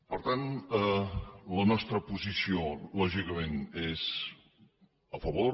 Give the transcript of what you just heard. per tant la nostra posició lògicament és a favor